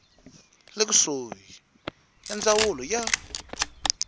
le kusuhi ya ndzawulo ya